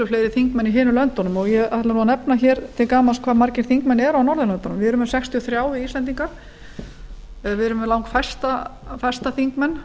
fleiri þingmenn í hinum löndunum og ég ætla þá að nefna til gamans hve margir þingmenn eru á norðurlöndunum við erum með sextíu og þrír íslendingar við erum með langfæsta þingmenn